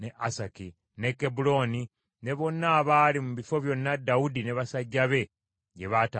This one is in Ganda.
n’e Kebbulooni, ne bonna abaali mu bifo byonna Dawudi ne basajja be gye baatambuliranga.